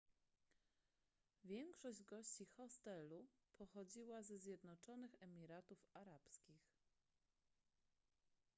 większość gości hostelu pochodziła ze zjednoczonych emiratów arabskich